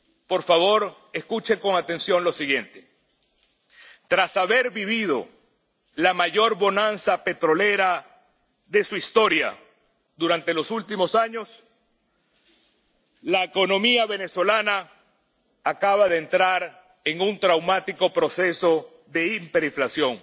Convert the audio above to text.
Por favor, escuchen con atención lo siguiente. Tras haber vivido la mayor bonanza petrolera de su historia durante los últimos años, la economía venezolana acaba de entrar en un traumático proceso de hiperinflación